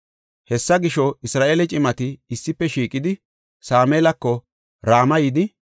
Hessa gisho, Isra7eele cimati issife shiiqidi, Sameelako Rama yidi,